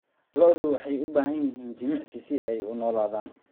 Lo'du waxay u baahan yihiin jimicsi si ay u noolaadaan.